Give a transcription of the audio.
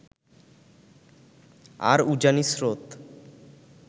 আর উজানি স্রোত